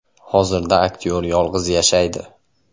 Hozirda aktyor yolg‘iz yashaydi.